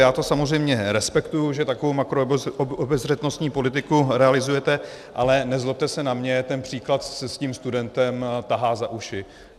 Já to samozřejmě respektuji, že takovou makroobezřetnostní politiku realizujete, ale nezlobte se na mě, ten příklad s tím studentem tahá za uši.